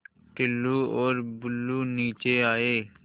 टुल्लु और बुल्लु नीचे आए